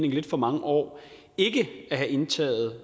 lidt for mange år ikke have indtaget